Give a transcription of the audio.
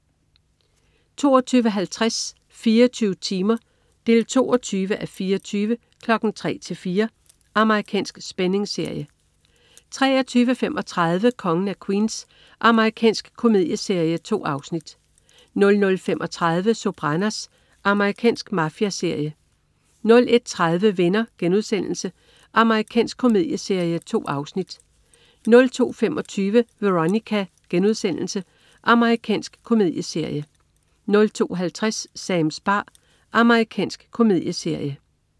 22.50 24 timer 22:24. 03:00-04:00. Amerikansk spændingsserie 23.35 Kongen af Queens. Amerikansk komedieserie. 2 afsnit 00.35 Sopranos. Amerikansk mafiaserie 01.30 Venner.* Amerikansk komedieserie. 2 afsnit 02.25 Veronica.* Amerikansk komedieserie 02.50 Sams bar. Amerikansk komedieserie